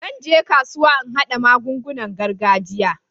Zan je kasuwa in haɗo magungunan gargajiya.